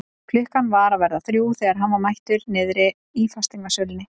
Klukkan var að verða þrjú þegar hann var mættur niðri í fasteignasölunni.